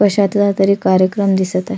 कशातला तरी कार्यक्रम दिसत आहे.